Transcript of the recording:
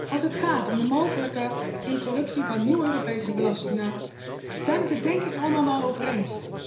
Als het gaat om de mogelijke introductie van nieuwe Europese belastingen, zijn we het er denk ik allemaal wel over eens.